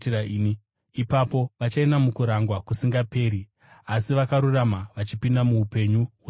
“Ipapo vachaenda mukurangwa kusingaperi, asi vakarurama vachipinda muupenyu husingaperi.”